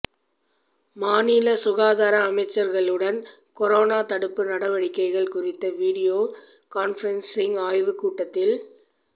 மாநில சுகாதார அமைச்சர்களுடன் கொரோனா தடுப்பு நடவடிக்கைகள் குறித்த வீடியோ கான்பிரன்சிங் ஆய்வு கூட்டத்தில்